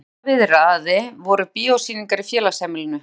En ef illa viðraði voru bíósýningar í félagsheimilinu.